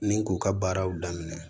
Ni k'u ka baaraw daminɛ